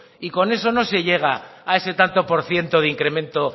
y con eso no se llega a ese tanto por cierto de incremento